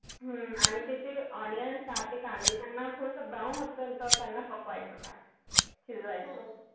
हम्म आणि तिथे onions ते कांदे त्याना थोडस brown होत पर्यंत त्यांना काय, शिजवायचं